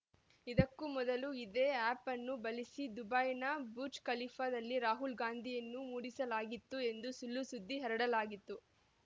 ಇದಕ್ಕೂ ಮೊದಲು ಇದೇ ಆ್ಯಪನ್ನು ಬಳಸಿ ದುಬೈನ ಬುರ್ಜ್ ಖಲೀಫಾದಲ್ಲಿ ರಾಹುಲ್‌ ಗಾಂಧಿವನ್ನು ಮೂಡಿಸಲಾಗಿತ್ತು ಎಂದೂ ಸುಳ್ಳುಸುದ್ದಿ ಹರಡಲಾಗಿತ್ತು